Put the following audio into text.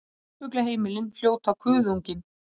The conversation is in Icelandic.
Farfuglaheimilin hljóta Kuðunginn